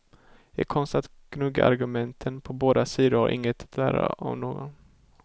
I konsten att gnugga argumenten på båda sidor har de inget att lära av någon.